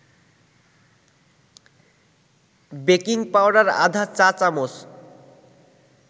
baking powder আধা চা-চামচ